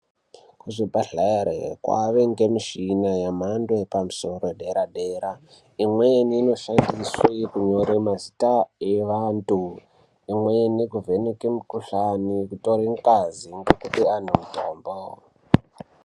Kuzvibhedhlere kwaane ngemishina yemhando yepamusoro ,yedera -dera. Imweni inoshandiswe kunyore mazita evantu ,imweni kuvheneke mukhuhlani ,kutore ngazi ngekupe antu mutombo.